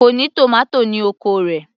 Kò ní tòmátò ní oko rẹ̀